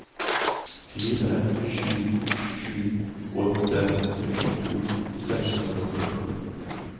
fire sju sju åtte sekstito seks hundre og førti